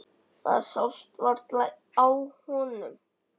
Það sást varla á honum.